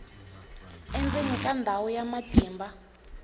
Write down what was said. endzeni ka ndhawu ya matimba